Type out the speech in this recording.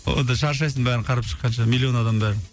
онда шаршайсың бәрін қарап шыққанша миллион адам бәрін